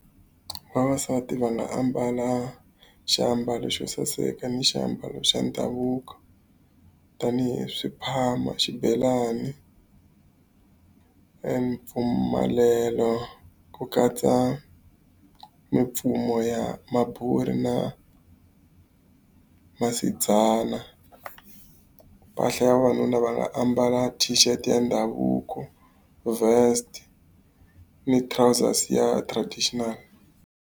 Vavasati va nga ambala xiambalo xo saseka ni xiambalo xa ndhavuko. Tanihi swiphama, xibelani e , ku katsa mimfumo ya na . Mpahla ya vavanuna va nga ambala t-shirt ya ndhavuko, vest ni trousers ya traditional.